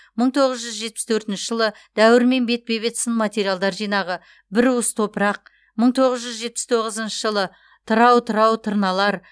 мың тоғыз жүз жетпіс төртінші жылы дәуірмен бетпе бет сын мақалалар жинағы бір уыс топырақ мың тоғыз жүз жетпіс тоғызыншы жылы тырау тырау тырналар